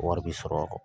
Wari bi sɔrɔ a